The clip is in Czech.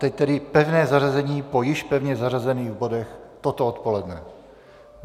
Teď tedy pevné zařazení po již pevně zařazených bodech toto odpoledne.